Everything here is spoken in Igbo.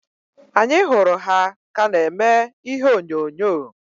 Anyị hụrụ ha ka na-eme ihe onyonyo.